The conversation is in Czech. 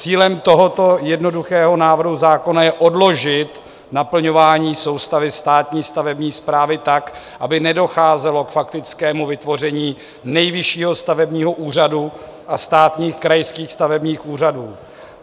Cílem tohoto jednoduchého návrhu zákona je odložit naplňování soustavy státní stavební správy tak, aby nedocházelo k faktickému vytvoření Nejvyššího stavebního úřadu a státních krajských stavebních úřadů.